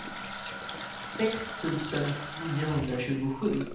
sex tusen niohundratjugosju